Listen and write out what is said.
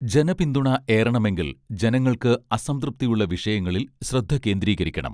ജനപിന്തുണ ഏറണമെങ്കിൽ ജനങ്ങൾക്ക് അസംതൃപ്തിയുള്ള വിഷയങ്ങളിൽ ശ്രദ്ധ കേന്ദ്രീകരിക്കണം